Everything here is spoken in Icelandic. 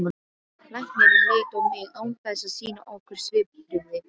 Læknirinn leit á mig án þess að sýna nokkur svipbrigði.